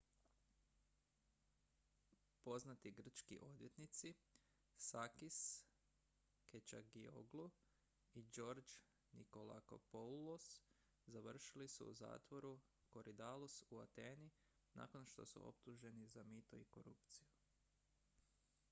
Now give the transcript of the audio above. poznati grčki odvjetnici sakis kechagioglou i george nikolakopoulos završili su u zatvoru korydallus u ateni nakon što su optuženi za mito i korupciju